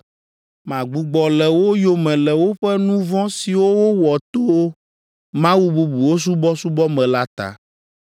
Magbugbɔ le wo yome le woƒe nu vɔ̃ siwo wowɔ to mawu bubuwo subɔsubɔ me la ta.